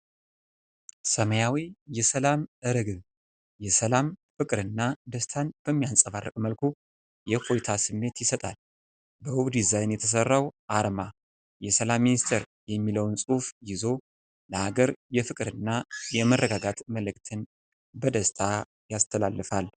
ሰማያዊ የሰላም ርግብ የሰላም ፍቅርና ደስታን በሚያንጸባርቅ መልኩ የእፎይታ ስሜት ይሰጣል። በውብ ዲዛይን የተሰራው አርማ የሰላም ሚኒስቴር የሚለውን ጽሑፍ ይዞ፣ ለአገር የፍቅርና የመረጋጋት መልዕክትን በደስታ ያስተላልፋል።